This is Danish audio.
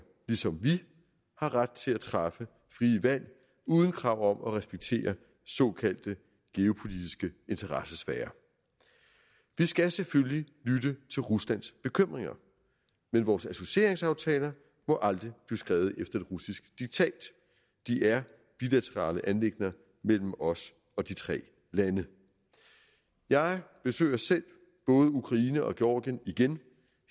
ligesom vi har ret til at træffe frie valg uden krav om at respektere såkaldte geopolitiske interessesfærer vi skal selvfølgelig lytte til ruslands bekymringer men vores associeringsaftaler må aldrig blive skrevet efter et russisk diktat de er bilaterale anliggender mellem os og de tre lande jeg besøger selv både ukraine og georgien igen